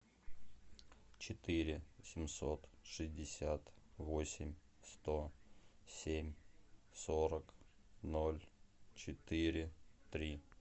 четыре семьсот шестьдесят восемь сто семь сорок ноль четыре три